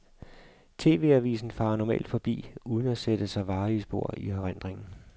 TV-avisen farer normalt forbi uden at sætte sig varige spor i erindringen.